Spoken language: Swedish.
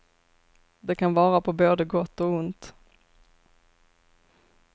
Det kan vara på både gott och ont.